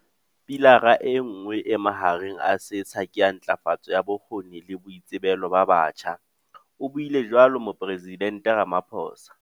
"Pilara enngwe e mahareng a setsha ke ya ntlafatso ya bokgoni le boitsebelo ba batjha," o buile jwalo Mopore sidente Ramaphosa.